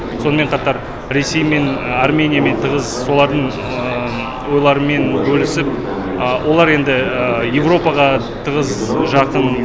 сонымен қатар ресеймен армениямен тығыз солардың ойларымен бөлісіп олар енді еуропаға тығыз жақын